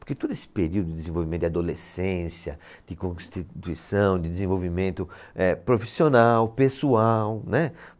Porque todo esse período de desenvolvimento de adolescência, de constituição, de desenvolvimento eh, profissional, pessoal, né?